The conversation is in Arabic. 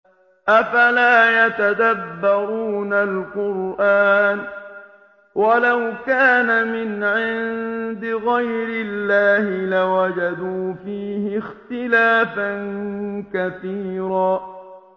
أَفَلَا يَتَدَبَّرُونَ الْقُرْآنَ ۚ وَلَوْ كَانَ مِنْ عِندِ غَيْرِ اللَّهِ لَوَجَدُوا فِيهِ اخْتِلَافًا كَثِيرًا